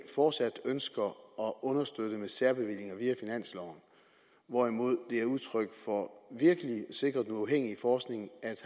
fortsat ønsker at understøtte med særbevillinger via finansloven hvorimod det er udtryk for virkelig at sikre den uafhængige forskning at